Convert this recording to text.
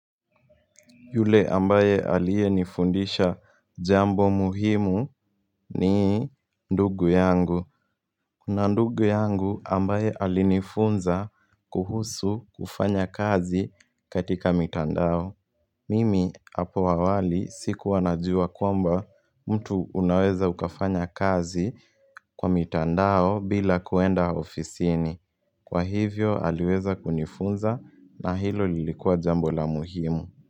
Yule ambaye alie nifundisha jambo muhimu ni ndugu yangu. Kuna ndugu yangu ambaye alinifunza kuhusu kufanya kazi katika mitandao. Mimi hapo awali siku wanajua kwamba mtu unaweza ukafanya kazi kwa mitandao bila kuenda ofisini. Kwa hivyo aliweza kunifunza na hilo lilikuwa jambo la muhimu.